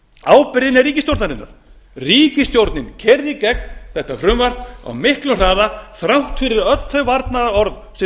ábyrgðin er ríkisstjórnarinnar ríkisstjórnin keyrði þetta frumvarp í gegn á miklum hraða þrátt fyrir öll þau varnaðarorð sem